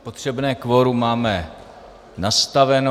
Potřebné kvorum máme nastaveno.